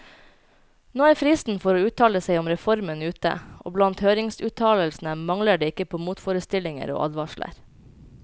Nå er fristen for å uttale seg om reformen ute, og blant høringsuttalelsene mangler det ikke på motforestillinger og advarsler.